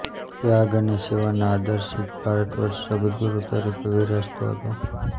ત્યાગ અને સેવાના આદર્શી જ ભારતવર્ષ જગદગુરુ તરીકે વિરાજતો હતો